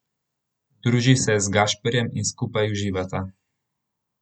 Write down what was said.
Druži se z Gašperjem in skupaj uživata.